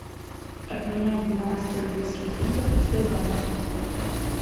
обменять двенадцать английских фунтов в сбербанке